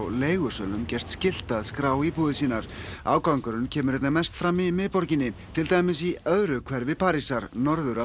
leigusölum gert skylt að skrá íbúðir sínar ágangurinn kemur einna mest fram í miðborginni til dæmis í öðru hverfi Parísar norður af